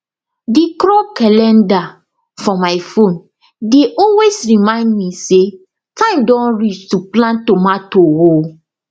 the crop calendar for my phone dey always remind me say time don reach to plant tomato o